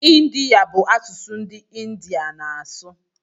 Ịndiya bụ asụsụ ndị India na-asụ